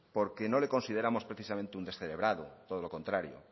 porque no le consideramos precisamente un descerebrado todo lo contrario